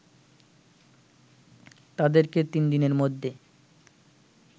তাদেরকে তিন দিনের মধ্যে